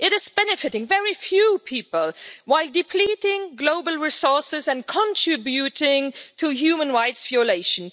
It is benefiting very few people while depleting global resources and contributing to human rights violations.